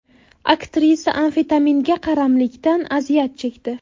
Aktrisa amfetaminga qaramlikdan aziyat chekdi.